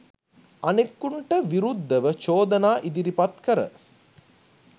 අනෙකුන්ට විරුද්ධව චෝදනා ඉදිරිපත් කර